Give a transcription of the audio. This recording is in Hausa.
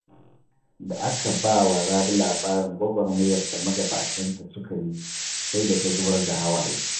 Da aka bawa rabi labarin gwagwarmayar da magabatanta suka yi sai da ta zubar da hawaye